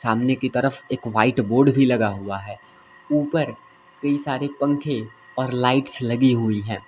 सामने की तरह एक व्हाइट बोर्ड भी लगा हुआ है ऊपर कई सारे पंखे और लाइट्स लगी हुई है।